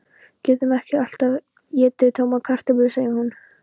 Getum ekki alltaf étið tómar kartöflur, segir hún.